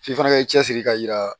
F'i fana ka cɛsiri ka yira